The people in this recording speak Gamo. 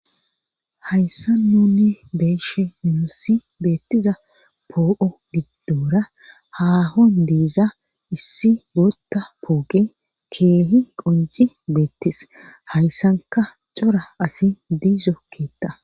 Hayssa nunni beeshe minosi beettiza poo7o diddoora haahon diiza issi gotta pooqi keehi qonci beettis hayssanka cora asi diizokkeeta.